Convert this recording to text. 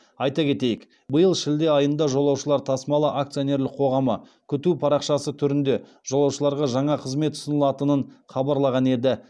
айта кетейік биыл шілде айында жолаушылар тасымалы акционерлік қоғамы күту парақшасы түрінде жолаушыларға жаңа қызмет ұсынылатынын хабарлаған еді